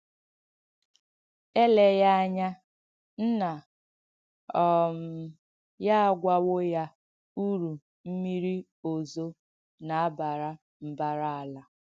Èléghī ányà nna um ya àgwọ̀wọ̀ ya urú m̀mírī òzọ̀ na-abara mbàrà ālà.